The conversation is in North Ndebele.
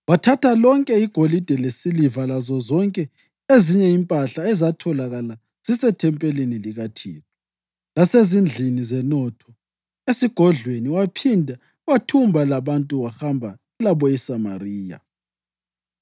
Wathatha lonke igolide lesiliva lazozonke ezinye impahla ezatholakala zisethempelini likaThixo lasezindlini zenotho esigodlweni waphinda wathumba labantu wahamba labo eSamariya.